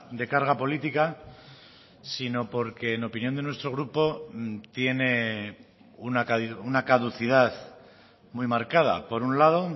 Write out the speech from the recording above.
de carga política sino porque en opinión de nuestro grupo tiene una caducidad muy marcada por un lado